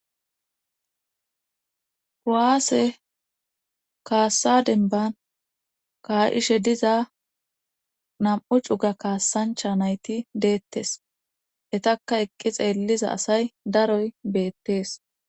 kuaase kaassa denban kaa7ishe diza nam7u cuga kaassancha nayti deettes etakka eqqi xeelliza asay daroy beettees